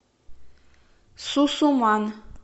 сусуман